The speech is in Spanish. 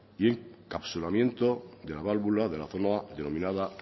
y encapsulamiento de la válvula de la zona denominada